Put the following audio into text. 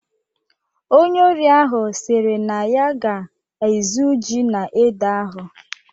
Onye ori ahụ sịrị na ya ga-ezu ji na ede ahụ.